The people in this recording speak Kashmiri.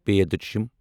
پھ